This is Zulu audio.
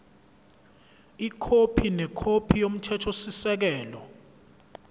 ikhophi nekhophi yomthethosisekelo